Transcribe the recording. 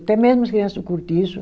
Até mesmo as criança do cortiço